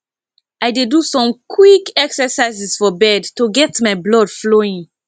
i dey do some quick exercises for bed to get my blood flowing